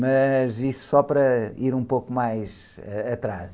Mas isso só para ir um pouco mais atrás.